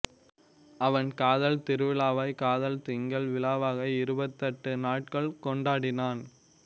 அவன் காதல் திருவிழாவை காதல் திங்கள் விழாவாக இருபத்தெட்டு நாட்கள் கொண்டாடினான்